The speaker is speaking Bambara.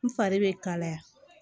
N fari bɛ kalaya